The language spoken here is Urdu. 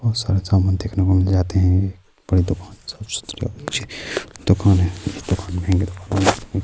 اور سارا سامان دیکھنے کو مل جاتے ہے۔ پورے دکان مے دکان ہے۔